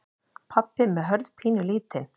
Pabbi með Hörð pínulítinn.